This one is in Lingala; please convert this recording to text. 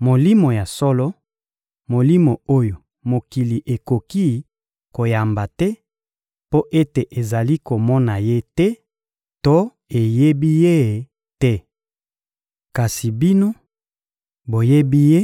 Molimo ya solo, Molimo oyo mokili ekoki koyamba te mpo ete ezali komona Ye te to eyebi Ye te. Kasi bino, boyebi Ye,